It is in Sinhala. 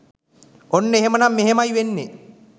ඔන්න එහෙනම් මෙහෙමයි වෙන්නේ